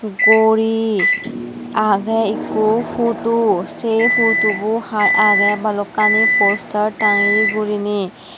guri agey ikko photo sey photobo hai agey balukkani poster tangeye guriney.